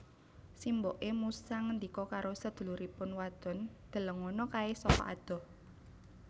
Simboké musa ngendika karo seduluripun wadon Delengono kaé saka adoh